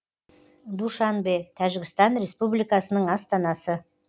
душанбе тәжікстан республикасының астанасы